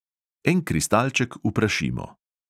En kristalček uprašimo.